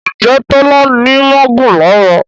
Njé Tola ní magun lára?